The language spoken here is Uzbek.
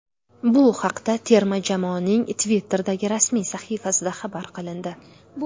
Bu haqda terma jamoaning Twitter’dagi rasmiy sahifasida xabar qilindi.